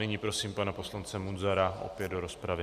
Nyní prosím pana poslance Munzara opět do rozpravy.